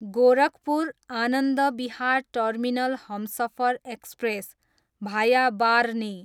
Gorakhpur, Anand Vihar terminal Humsafar express, भाया बार्ह्नी